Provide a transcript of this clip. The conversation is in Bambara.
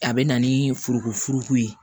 A bɛ na ni forokofuruko ye